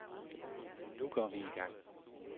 Nu går vi i gang.